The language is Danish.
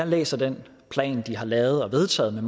læser den plan de har lavet og vedtaget med